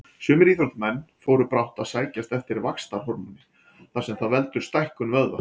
Sumir íþróttamenn fóru brátt að sækjast eftir vaxtarhormóni þar sem það veldur stækkun vöðva.